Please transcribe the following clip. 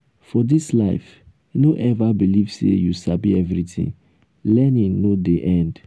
for dis life no eva beliv sey you sabi everytin. learning no dey end.